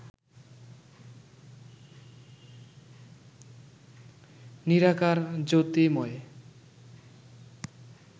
নিরাকার, জ্যোতির্ময়